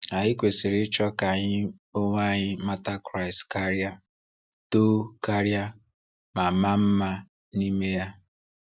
Anyị kwesịrị ịchọ ka anyị onwe anyị mata Kraịst karịa, too karịa, ma maa mma n’ime ya.